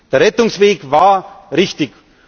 Der Rettungsweg war richtig.